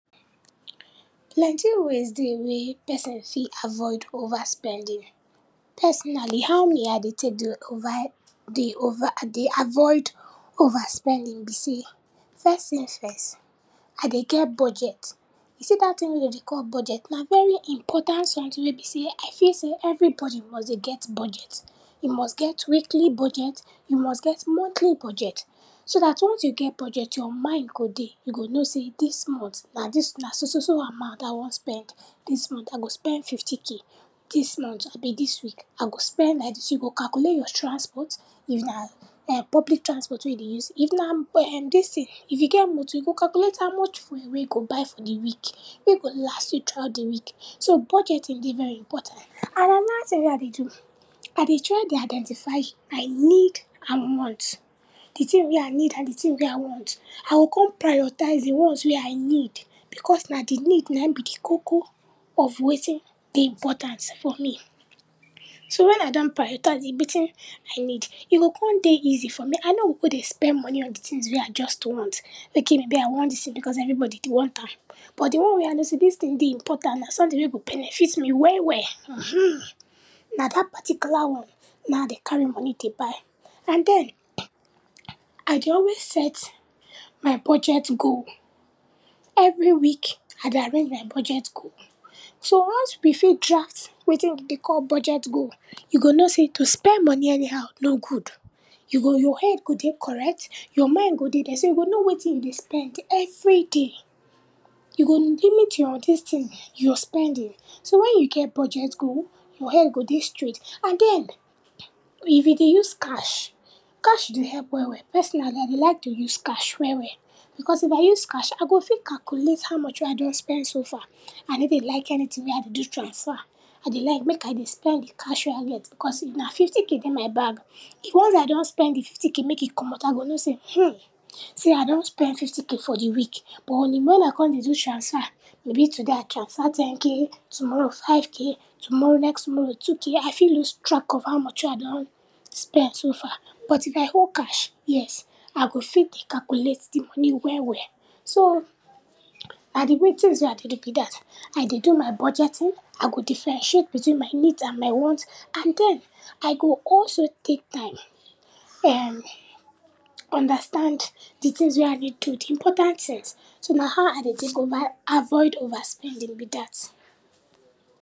Plenty ways dey wey person fit avoid over spending. Personally, how me I dey tek dey over, dey over, dey avoid over spending be sey, first tin first, I dey get budget. You see dat tin wey den dey call budget na very important sometin wey be sey I feel sey everybody must dey get budget. You must get weekly budget, you must get montly budget, so dat once you get budget your mind go dey, you go know sey dis mont na dis, na so so so amount I wan spend, dis mont I go spend fifty k, dis mont abi dis week I go spend like dis, you go calculate your transport, if na um public transport wey you dey use, if na um dis tin, if you get motor you go calculate how much fuel wey go buy for di week, wey go last you truout di week. So, budgeting dey very important. And anoda tin wey I dey do, I dey try dey identify my need and want, di tin wey I need and di tin wey I want, I go kon prioritise di ones wey I need, because na di need nai be di koko of wetin dey important for me. So, when I don prioritise di wetin I need, e go kon dey easy for me, I no go go dey spend money on di tins wey I just want, ok maybe I want dis tin, because everybody dey want am, but di one wey I know sey dis tin dey important na sometin wey go benefit me well well, uhumm, na dat particular one na I dey carry money dey buy. And den, I dey always set my budget goal, every week, I dey arrange my budget goal. So, once we fit draft wetin we dey call budget goal, you go know sey to spend money anyhow no good, you go, your head go dey correct, your mind go dey der, so you go know wetin you dey spend every day, you go limit your dis tin, your spending, so when you get budget goal, your head go dey straight and den, e if you dey use cash, cash dey help well well. Personally, I dey like to use cash well well, because if I use cash I go fit calculate how much wey I don spend so far, I ney dey like anytin wey I dey do transfer, I dey like mek I dey spend di cash wey I get, because if na fifty k dey my bag, once I don spend di fifty k mek e comot, I go know sey, hmm, I don spend fifty k for di week, but on e, when I kon dey do transfer, maybe today I transfer ten k, tomorrow five k, tomorrow, next tomorrow two k, I fit loose track of how much wey I don spend so far, but if I owe cash, yes, I go fit dey calculate di money well well. So, na di wey tins wey I dey do be dat, I dey do my budgeting, I go differentiate between my needs and my wants and den, I go also take time um understand di tins wey I need do, di important tins, so na how I dey tek over avoid over spending be dat.